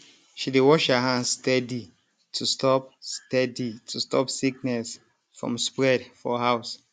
she dey wash her hands steady to stop steady to stop sickness from spread for house